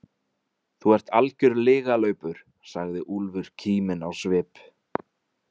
Þú ert algjör lygalaupur, sagði Úlfur kíminn á svip.